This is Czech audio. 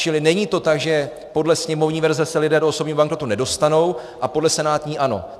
Čili není to tak, že podle sněmovní verze se lidé do osobního bankrotu nedostanou a podle senátní ano.